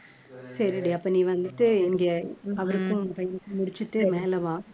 சரி டி அப்ப நீ வந்துட்டு இங்க அவருக்கும் பையனுக்கும் முடிச்சுட்டு மேல வா